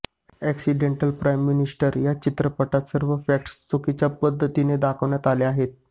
accidental prime minister या चित्रपटात सर्व फॅक्ट चुकीच्या पद्धतीने दाखविण्यात आल्या आहेत